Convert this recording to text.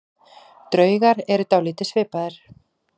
Draugar eru dálítið svipaðir.